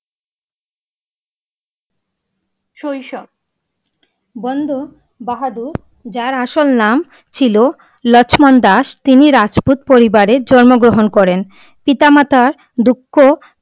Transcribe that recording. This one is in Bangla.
শৈশব, বন্দ বাহাদুর যার আসল নাম ছিলো, লক্ষ্মণ দাশ, তিনি রাজপুত পরিবারে জন্ম গ্রহণ করেন। পিতা মত দক্ষ!